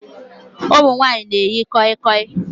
Ụmụ nwanyị na-eyi koi koi